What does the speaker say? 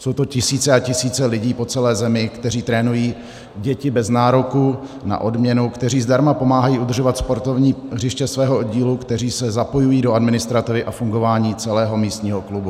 Jsou to tisíce a tisíce lidí po celé zemi, kteří trénují děti bez nároku na odměnu, kteří zdarma pomáhají udržovat sportovní hřiště svého oddílu, kteří se zapojují do administrativy a fungování celého místního klubu.